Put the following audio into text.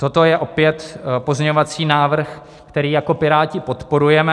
Toto je opět pozměňovací návrh, který jako Piráti podporujeme.